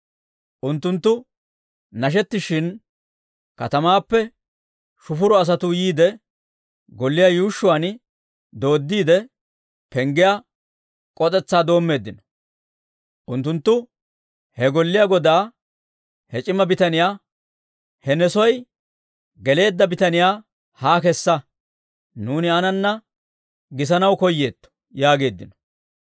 Unttunttu nashettishshin, katamaappe shufuro asatuu yiide, golliyaa yuushshuwaan dooddiide, penggiyaa k'os'etsaa doommeeddino; unttunttu he golliyaa godaa, he c'ima bitaniyaa, «He ne soy geleedda bitaniyaa haa kessa; nuuni aananna gisanaw koyyeetto!» yaageeddino.